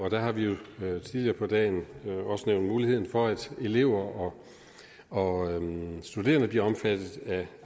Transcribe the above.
der har vi jo tidligere på dagen også nævnt muligheden for at elever og studerende bliver omfattet af